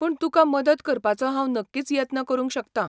पूण तुका मदत करपाचो हांव नक्कीच यत्न करूंक शकता.